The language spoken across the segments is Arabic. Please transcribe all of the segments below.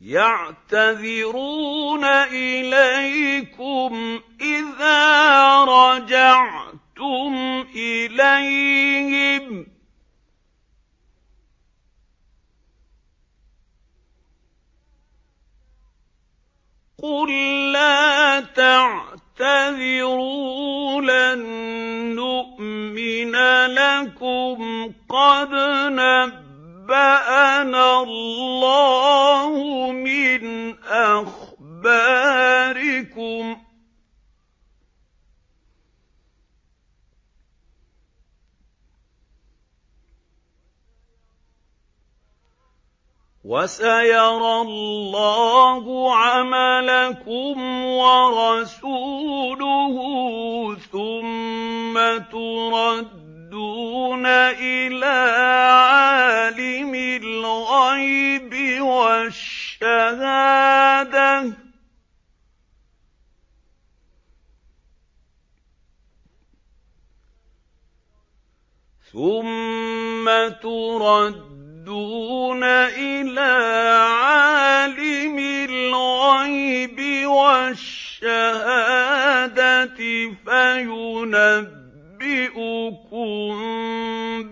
يَعْتَذِرُونَ إِلَيْكُمْ إِذَا رَجَعْتُمْ إِلَيْهِمْ ۚ قُل لَّا تَعْتَذِرُوا لَن نُّؤْمِنَ لَكُمْ قَدْ نَبَّأَنَا اللَّهُ مِنْ أَخْبَارِكُمْ ۚ وَسَيَرَى اللَّهُ عَمَلَكُمْ وَرَسُولُهُ ثُمَّ تُرَدُّونَ إِلَىٰ عَالِمِ الْغَيْبِ وَالشَّهَادَةِ فَيُنَبِّئُكُم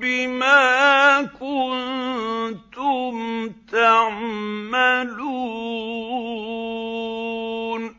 بِمَا كُنتُمْ تَعْمَلُونَ